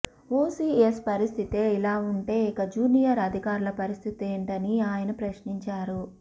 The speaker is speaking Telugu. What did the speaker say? ఓ సీఎస్ పరిస్థితే ఇలా ఉంటే ఇక జూనియర్ అధికారుల పరిస్థితేంటని ఆయన ప్రశ్నించారు